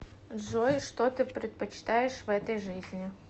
джой что ты предпочитаешь в этой жизни